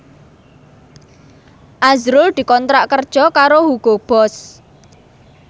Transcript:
azrul dikontrak kerja karo Hugo Boss